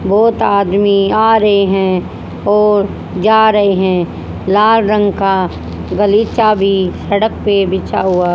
बहोत आदमी आ रहे हैं और जा रहे हैं लाल रंग का गलीचा भी सड़क पे बिछा हुआ--